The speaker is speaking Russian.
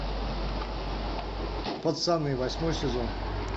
пацаны восьмой сезон